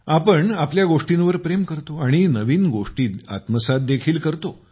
आपण आपल्या गोष्टींवर प्रेम करतो आणि नवीन गोष्टी आत्मसात देखील करतो